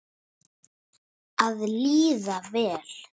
Að líða vel.